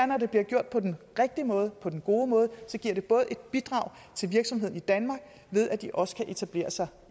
når det bliver gjort på den rigtige måde på den gode måde et bidrag til virksomheden i danmark ved at de også kan etablere sig